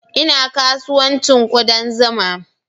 Ina kasuwancin kudan zuma